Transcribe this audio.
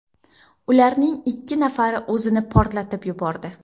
Ularning ikki nafari o‘zini portlatib yubordi.